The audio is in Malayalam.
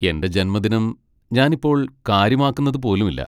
എന്റെ ജന്മദിനം ഞാൻ ഇപ്പോൾ കാര്യമാക്കുന്നതു പോലുമില്ല.